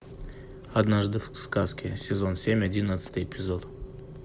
однажды в сказке сезон семь одиннадцатый эпизод